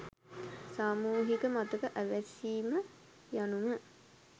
සාමූහික මතක ඇවිස්සීම යනුම